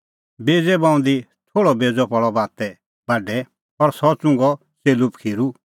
बेज़ै बऊंदी थोल़अ बेज़अ पल़अ बाते बाढै और सह च़ुंघअ च़ेल्लू पखीरू